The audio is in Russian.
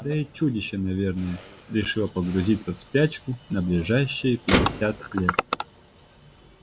да и чудище наверное решило погрузиться в спячку на ближайшие пятьдесят лет